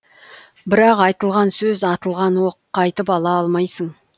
бірақ айтылған сөз атылған оқ қайтып ала алмайсың